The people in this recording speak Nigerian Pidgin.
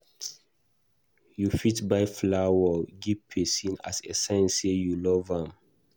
You fit buy flower give prson as a sign sey you love am